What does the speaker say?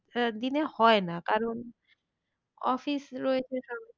দিনে হয় না কারণ office রয়েছে